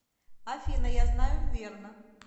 афина я знаю верно